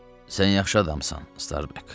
Sən yaxşı adamsan, Starbuck.